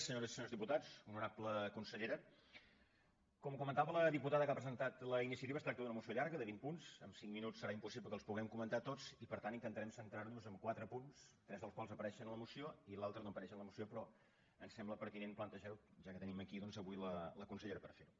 senyores i senyors diputats honorable consellera com comentava la diputada que ha presentat la iniciativa es tracta d’una moció llarga de vint punts amb cinc minuts serà impossible que els puguem comentar tots i per tant intentarem centrarnos en quatre punts tres dels quals apareixen a la moció i l’altre no apareix en la moció però em sembla pertinent plantejarlo ja que tenim aquí doncs avui la consellera per ferho